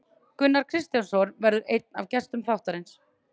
Gunnar Kristjánsson verður einn af gestum þáttarins.